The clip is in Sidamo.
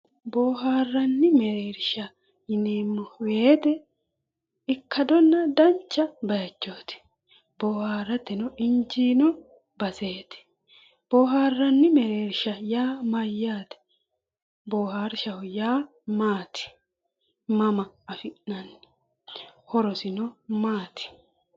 Bohaarranni mereershsha yineemmo woyiite ikkadonna dancha bayichooti bohaarateno injiino baseeti bohaarranni mereershsha yaa mayyaate? bohaarshaho yaa maati? mama afi'nanni? horosino maati?